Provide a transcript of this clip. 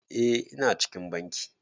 Eh ina cikin bankin.